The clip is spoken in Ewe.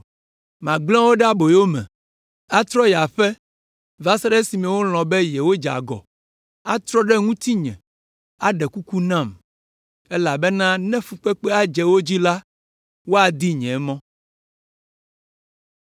Magblẽ wo ɖe aboyo me, atrɔ yi aƒe va se ɖe esime wolɔ̃ be yewodze agɔ, atrɔ ɖe ŋutinye, aɖe kuku nam, elabena ne fukpekpe dze wo dzi la, woadi nye mɔ.”